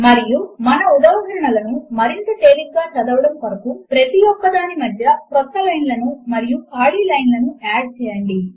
మరియు మన ఉదాహరణలను మరింత తేలికగా చదవడము కొరకు ప్రతి ఒక్కదాని మధ్య క్రొత్త లైన్ లను మరియు ఖాళీ లైన్ లను యాడ్ చేయండి